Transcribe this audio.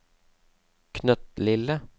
knøttlille